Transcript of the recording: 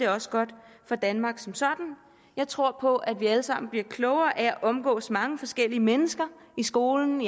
også godt for danmark som sådan jeg tror på at vi alle sammen bliver klogere af at omgås mange forskellige mennesker i skolen